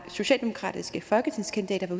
socialdemokratiske folketingskandidater